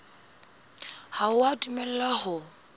ha o a dumellwa ho